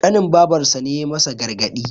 ƙanin babarsa ne ya yi masa gargadi